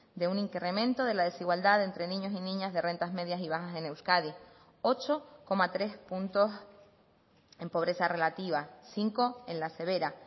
de un incremento de la desigualdad de entre niños y niñas de rentas medias y bajas en euskadi ocho coma tres puntos en pobreza relativa cinco en la severa